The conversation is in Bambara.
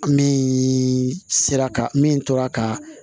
Min sera ka min tora ka